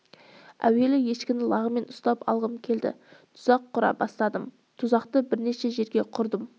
әуелі ешкіні лағымен ұстап алғым келді тұзақ құра бастадым тұзақты бірнеше жерге құрдым